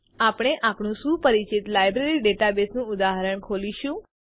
આપણે આપણું સુપરિચિત લાઈબ્રેરી ડેટાબેઝનું ઉદાહરણ ખોલીશું